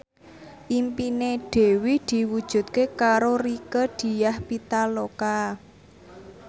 impine Dewi diwujudke karo Rieke Diah Pitaloka